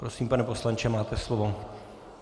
Prosím, pane poslanče, máte slovo.